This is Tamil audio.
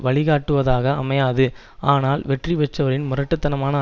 வழி காட்டுவதாக அமையாது ஆனால் வெற்றிபெற்றவரின் முரட்டு தனமான